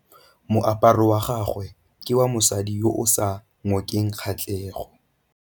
Moaparô wa gagwe ke wa mosadi yo o sa ngôkeng kgatlhegô.